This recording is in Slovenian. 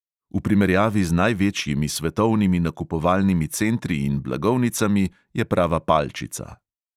V primerjavi z največjimi svetovnimi nakupovalnimi centri in blagovnicami je prava palčica.